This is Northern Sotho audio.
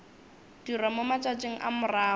dirwa mo matšatšing a morago